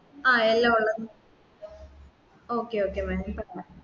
ആ എല്ലാമുള്ളത് okay okay mam